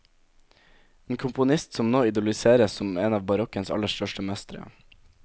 En komponist som nå idoliseres som en av barokkens aller største mestre.